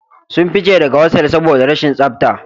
Sun fice daga hostal saboda rashin tsafta